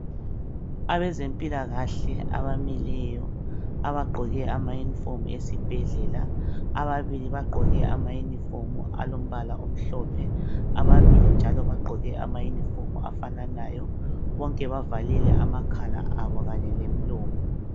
Abezempilakahle abamileyo abagqoke ama uniform esibhedlela ababili bagqoke ama uniform alombala omhlophe ababili njalo bagqoke ama uniform afananayo bonke bavalile amakhala abo kanye lomlomo.